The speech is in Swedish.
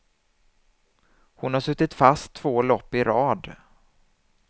Hon har suttit fast två lopp i rad.